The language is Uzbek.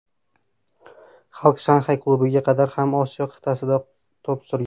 Xalk Shanxay klubiga qadar ham Osiyo qit’asida to‘p surgan.